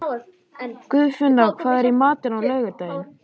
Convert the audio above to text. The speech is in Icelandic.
Guðfinna, hvað er í matinn á laugardaginn?